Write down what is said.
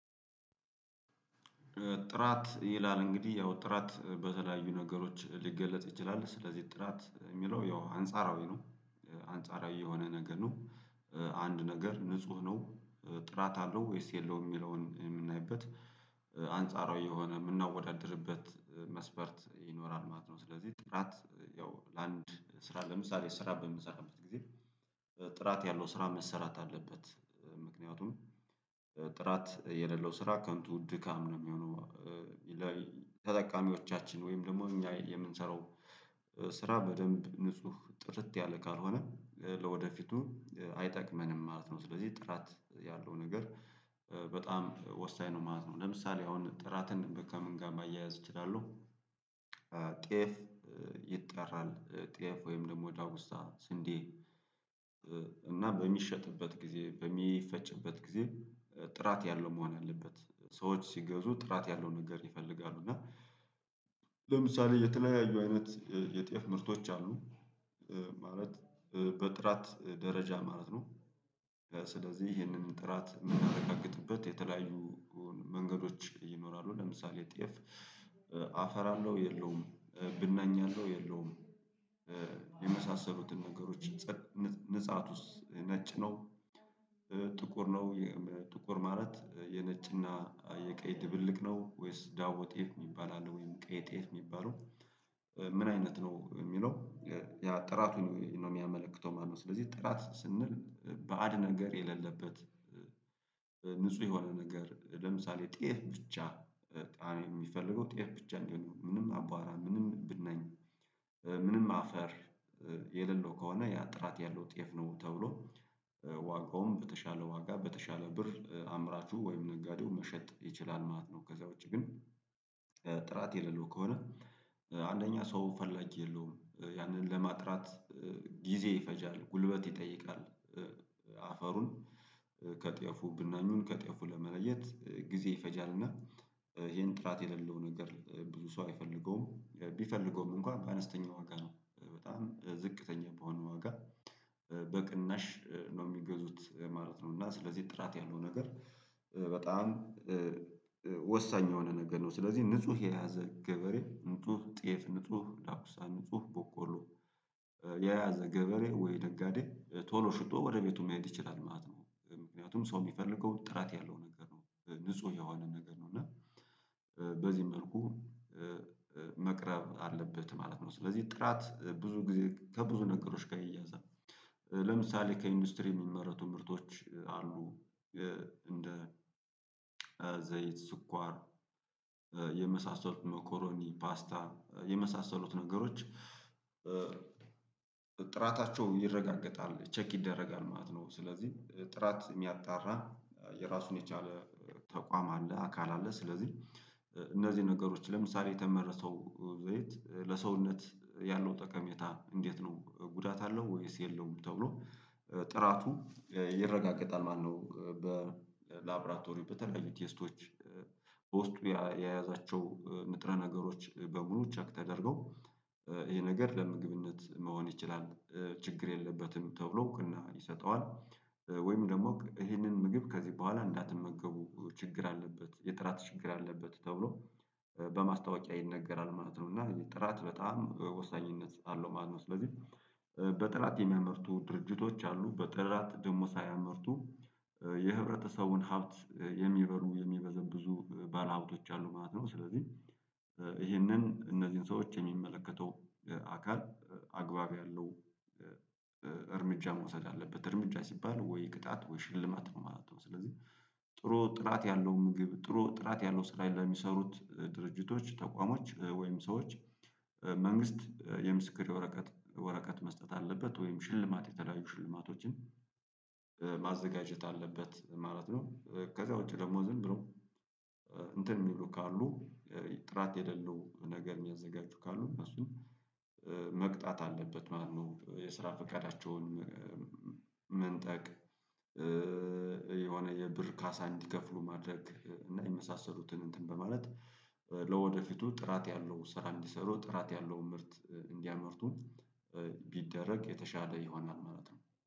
ጥራት ይላል እንግዲህ ያው ጥራት በተለያዩ ነገሮች ሊገለጥ ይችላል ስለዚህ ጥራት የሚለው ያው አንጻራዊ ነው አንጻራዊ የሆነ ነገር ነው። አንድ ነገር ንጹህ ነው ጥራት አለው ወይስ የለውም የሚለውን የምናይበት አንጻራዊ የሆነ የምናወዳድርበት መስፈርት ይኖራል ማለት ነው። ስለዚህ ጥራት ያው ለአንድ ስራ ለምሳሌ ስራ በምንሰራበት ጊዜ ጥራት ያለው ስራ መሰራት አለበት ምክንያቱም ጥራት የሌለው ስራ ከንቱ ድካም ነው የሚሆነው። ተጠቃሚዎቻችን ወይም ደግሞ እኛ የምንሰራው ስራ በደንብ ንጹህ ጥርት ያለ ካልሆነ ለወደፊቱ አይጠቅመንም ማለት ነው። ስለዚህ ጥራት ያለው ነገር በጣም ወሳኝ ነው ማለት ነው። ለምሳሌ አሁን ጥራትን ከምን ጋር ማያያዝ እችላለሁ። ጤፍ ይጠራል ጤፍ ወይም ደግሞ ዳጉሳ ስንዴ። እና በሚሸጥበት ጊዜ በሚፈጭበት ጊዜ ጥራት ያለው መሆን አለበት። ሰዎች ሲገዙ ጥራት ያለው ነገር ይፈልጋሉ። እና ለምሳሌ የተለያዩ አይነት የጤፍ ምርቶች አሉ። ማለት በጥራት ደረጃ ማለት ነው። ስለዚህ ይሄንን ጥራት የምናረጋግጥበት የተለያዩ መንገዶች ይኖራሉ። ለምሳሌ ጤፍ አፈር የለውም ብናኝ አለው የለውም። የመሳሰሉትን ነገሮች ንጻ ንጻቱስ ነጭ ነው። ጥቁር ነው ጥቁር ማለት የነጭና የቀይ ድብልቅ ነው ወይስ ዳቦ ጤፍ የሚባል አለ ወይስ ቀይ ጤፍ የሚባለው? ምን አይነት ነው የሚለው? ያ ጥራቱን ነው የሚያመለክተው ማለት ነው። ስለዚህ ጥራት ስንል ባዕድ ነገር የሌለበት ንጹህ የሆነ ነገር ለምሳሌ ጤፍ ብቻ የሚፈልገው ጤፍ ብቻ ነው ምንም አቧራ ምንም ብናኝ ምንም አፈር የሌለው ከሆነ ያ ጥራት ያለው ጤፍ ነው ተብሎ። ዋጋውም በተሻለ ዋጋ በተሻለ ብር አምራቹ ወይም ነጋዴው መሸጥ ይችላል ማለት ነው። ከዛ ውጪ ግን ጥራት የሌለው ከሆነ አንደኛ ሰው ፈላጊ የለውም ያንን ለማጥራት ጊዜ ይፈጃል ጉልበት ይጠይቃል። አፈሩን ከጤፉ ብናኙን ከጤፉ ለመለየት ጊዜ ይፈጃልና ይህን ጥራት የሌለውን ነገር ብዙ ሰው አይፈልገውም ቢፈልገውም እንኳን በአነስተኛ ዋጋ ነው በጣም ዝቅተኛ በሆነ ዋጋ። በቅናሽ ነው የሚገዙት ማለት ነው። እና ስለዚህ ጥራት ያለው ነገር በጣም ወሳኝ የሆነ ነገር ነው። ስለዚህ ንጹህ የያዘ ገበሬ ንጹህ ጤፍ ንጹህ ዳጉሳ ንጹህ በቆሎ የያዘ ገበሬ ወይ ነጋዴ ቶሎ ሽጦ ወደ ቤቱ መሄድ ይችላል ማለት ነው። ምክንያቱም ሰው የሚፈልገው ጥራት ያለው ነገር ነው ንጹህ የሆነን ነገር ነው እና በዚህ መልኩ መቅረብ አለበት ማለት ነው። ስለዚህ ጥራት ብዙ ጊዜ ከብዙ ነገሮች ጋር ይያዛል። ለምሳሌ ከኢንዱስትሪ የሚመረቱ ምርቶች አሉ። እንደ ዘይት ስኳር የመሳሰሉት መኮሮኒ ፓስታ የመሳሰሉት ነገሮች ጥራታቸውን ይረጋገጣል ቼክ ይደረጋል ማለት ነው። ስለዚህ ጥራት የሚያጣራ የራሱን የቻለ ተቋም አለ አካል አለ። ስለዚህ እነዚህ ነገሮች ለምሳሌ የተመረተው ዘይት ለሰውነት ያለው ጠቀሜታ እንዴት ነው ጉዳት አለው ወይስ የለውም ተብሎ ጥራቱ ይረጋገጣል ማለት ነው። በላብራቶሪ በተለያዩ ቴስቶች በውስጡ የያዛቸው ንጥረ ነገሮች በሙሉ ቸክ ተደርገው ይሄ ነገር ለምግብነት መሆን ይችላል ችግር የለበትም ተብሎ ይሰጠዋል። ወይም ደግሞ ይሄንን ምግብ ከዚህ በኋላ እንዳትመገቡ ችግር አለበት የጥራት ችግር አለበት ተብሎ በማስታወቂያ ይነገራል ማለት ነው። እና ጥራት በጣም ወሳኝነት አለው ማለት ነው። ስለዚህ በጥራት የሚያመርቱ ድርጅቶች አሉ በጥራት ደግሞ ሳያመርቱ የኅብረተሰቡን ሀብት የሚበሉ የሚበዘብዙ ባለሀብቶች አሉ ማለት ነው። ስለዚህ ይሄንን እነዚህን ሰዎች የሚመለከተው አካል አግባብ ያለው እርምጃ መውሰድ አለበት እርምጃ ሲባል ወይ ቅጣት ወይ ሽልማት ነው ማለት ነው። ስለዚህ ጥሩ ጥራት ያለው ምግብ ጥሩ ጥራት ያለው ስራ ለሚሠሩት ድርጅቶች ተቋሞች ወይም ሰዎች መንግስት የምስክር ወረቀት ወረቀት መስጠት አለበት ወይም ሽልማት የተለያዩ ሽልማቶችን ማዘጋጀት አለበት ማለት ነው። ከዛ ውጪ ደግሞ ዝም ብሎ እንትን የሚሉ ካሉ ጥራት የሌለው ነገር የሚያዘጋጁ ካሉ እሱን መቅጣት አለበት ማለት ነው። የስራ ፍቃዳቸውን መንጠቅ የሆነ የብር ካሳ እንዲከፍሉ ማድረግ እና የመሳሰሉትን እንትን በማለት ለወደፊቱ ጥራት ያለው ስራ እንዲሠሩ ጥራት ያለው ምርት እንዲያመርቱ ቢደረግ የተሻለ ይሆናል ማለት ነው